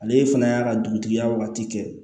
Ale fana y'a ka dugutigiya waati kɛ